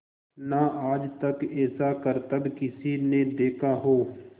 ना आज तक ऐसा करतब किसी ने देखा हो